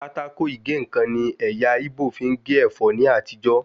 Pátákó ìgé-ǹkan ni ẹ̀yà íbò fi ń gé ẹ̀fọ́ ní àtijó